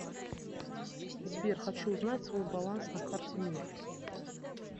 сбер хочу узнать свой баланс на карте мир